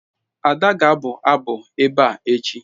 Ada ga-abu abu ebe a echi